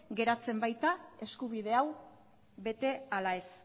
geratzen baita eskubide hau bete ala ez